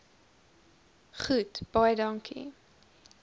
goed baie dankie